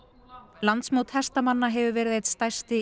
landsmót hestamanna hefur verið einn stærsti